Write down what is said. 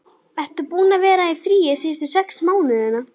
Ertu búinn að vera í fríi síðustu sex mánuði?